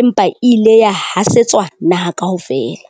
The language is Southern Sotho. empa e ile ya hasetswa naha kaofela.